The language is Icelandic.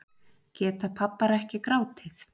Geta pabbar ekki grátið